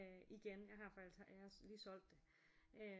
Øh igen jeg har faktisk jeg har lige solgt det øh